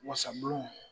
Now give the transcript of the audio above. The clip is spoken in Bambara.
Wasabulon